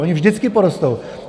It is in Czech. Ony vždycky porostou.